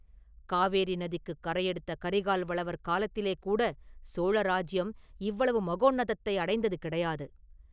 காவேரி நதிக்குக் கரையெடுத்த கரிகால் வளவர் காலத்திலேகூடச் சோழ ராஜ்யம் இவ்வளவு மகோன்னதத்தை அடைந்தது கிடையாது.